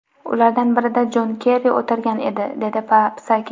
Ulardan birida Jon Kerri o‘tirgan edi”, dedi Psaki.